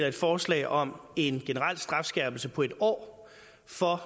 et forslag om en generel strafskærpelse på en år for